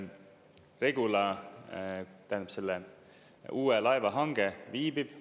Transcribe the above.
Regula, tähendab, selle uue laeva hange viibib.